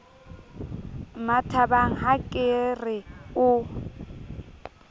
mmathabang ha ke re o